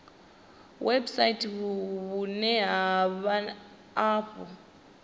website vhune ha vha afho